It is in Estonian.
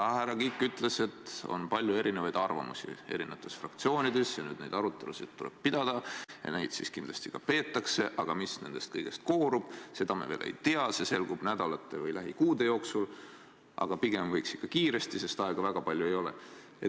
Härra Kiik ütles, et on palju erinevaid arvamusi eri fraktsioonides ja nüüd neid arutelusid tuleb pidada ja neid siis kindlasti ka peetakse, aga mis nendest kõigist koorub, seda me veel ei tea, see selgub nädalate või lähikuude jooksul, aga pigem võiks selguda ikka kiiresti, sest aega väga palju ei ole.